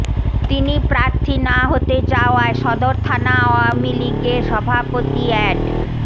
তিনি প্রার্থী না হতে চাওয়ায় সদর থানা আওয়ামী লীগের সভাপতি অ্যাড